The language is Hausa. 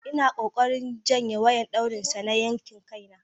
Ina kokarin juyye wayan dauri sa na yanki Kai na.